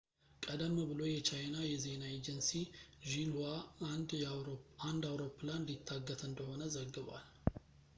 ቀደም ብሎ የቻይና የዜና ኤጀንሲ ሺንሁዋ አንድ አውሮፕላን ሊታገት እንደሆነ ዘግቧል